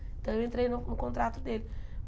Então eu entrei no no contrato dele.